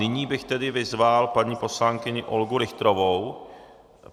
Nyní bych tedy vyzval paní poslankyni Olgu Richterovou.